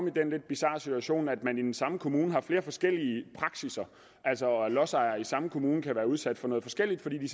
i den lidt bizarre situation at man i den samme kommune har flere forskellige praksisser altså lodsejere i samme kommune kan være udsat for noget forskelligt fordi de